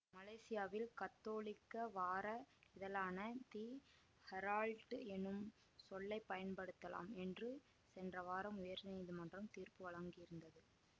மலேசியாவில் கத்தோலிக்க வார இதழான தி ஹெரால்ட் என்னும் சொல்லை பயன்படுத்தலாம் என்று சென்ற வாரம் உயர்நீதிமன்றம் தீர்ப்பு வழங்கியிருந்தது